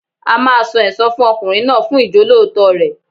A máa san ẹsan fún ọkùnrin náà fún Ìjọ́lóòótọ́ rẹ̀.